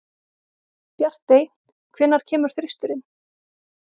Bjartey, hvenær kemur þristurinn?